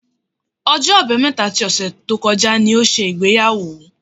Ọjọ́ Àbámẹ́ta ti ọ̀sẹ̀ tó kọjá ṣe ìgbéyàwó.